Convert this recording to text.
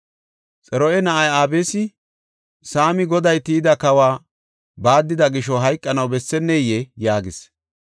Xaruya na7ay Abisi, “Saami Goday tiyida kawa baaddida gisho hayqanaw besseneyee?” yaagis.